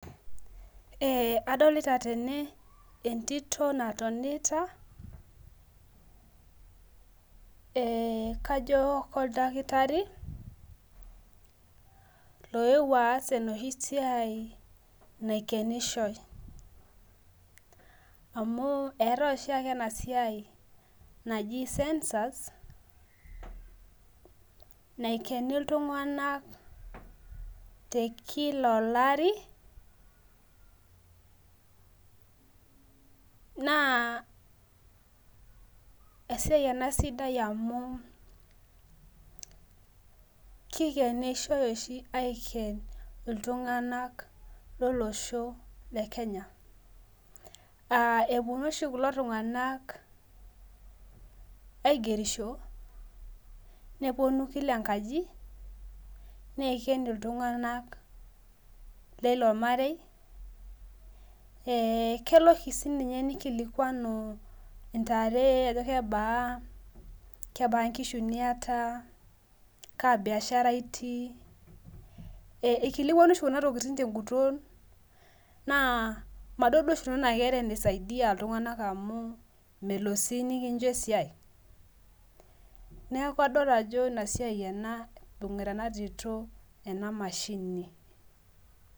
Adolita tene entito natonita kajo koo ldakitari loeuo aas enoshi siai naikenishoi. Amu etae oshieke ena siai naji census naikeni iltung'ana te kila olari naa esiai ena sidai amu kikenishoi oshi aiken iltung'ana loo losho le Kenya. Aa epuonu oshi kulo tung'ana aigerisho kila enkaji neiken iltung'ana leilo marei. Kelo oshi ninye nikilikuanu intare ajo kebaa inkishu niata kaa biashara itii . Ikilikuanu oshii kuna tokitin tee guton naa madol duo oshi nanu anaa ketaa eneisadia iltung'ana amuu melo sii nikincho esiai. Neeku kadol ajo ina siai ena ibung'ita ena tito etaa ena mashini.